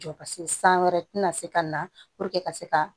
Jɔ san wɛrɛ tɛna se ka na ka se ka